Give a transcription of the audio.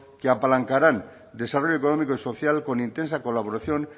que apalancarán el económico y social con intensa colaboración